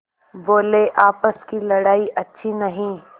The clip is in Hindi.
बोलेआपस की लड़ाई अच्छी नहीं